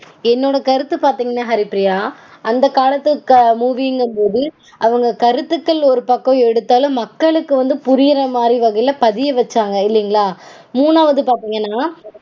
என்னோட கருத்து பாத்தீங்கனா ஹரிப்பிரியா அந்த காலத்து movie -ங்கும்போது அவங்க கருத்துக்கள் ஒரு பக்கம் எடுத்தாலும் மக்களுக்கு புரியுர மாதிரி வகையில பதிய வச்சாங்க இல்லீங்களா? மூனாவது பாத்தீங்கனா